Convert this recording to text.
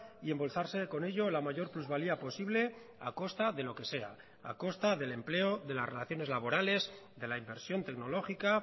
y embolsarse con ello la mayor plusvalía posible a costa de lo que sea a costa del empleo de las relaciones laborales de la inversión tecnológica